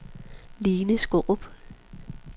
Line Skaarup